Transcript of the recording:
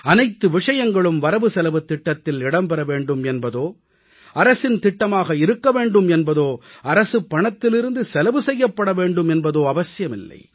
அனைத்து விஷயங்களும் வரவுசெலவுத் திட்டத்தில் இடம்பெற வேண்டும் என்பதோ அரசின் திட்டமாக இருக்க வேண்டும் என்பதோ அரசுப் பணத்திலிருந்து செலவு செய்யப்பட வேண்டும் என்பதோ அவசியமில்லை